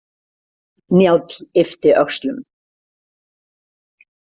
Njáll yppti öxlum.